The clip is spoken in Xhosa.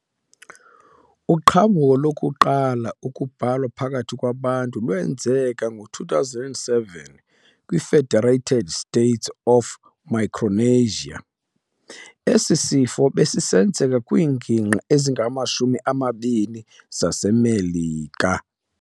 Uqhambulo lokuqala ukubhalwa phakathi kwabantu lwenzeka ngo-2007 kwi-Federated States of Micronesia. , esi sifo besisenzeka kwingingqi ezingamashumi amabini zaseMelika.